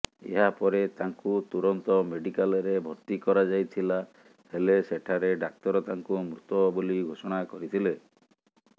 ଏହାପରେ ତାଙ୍କୁ ତୁରନ୍ତ ମେଡିକାଲରେ ଭର୍ତ୍ତି କରାଯାଇଥିଲା ହେଲେ ସେଠାରେ ଡାକ୍ତର ତାଙ୍କୁ ମୃତ ବୋଲି ଘୋଷଣା କରିଥିଲେ